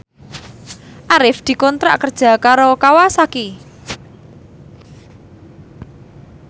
Arif dikontrak kerja karo Kawasaki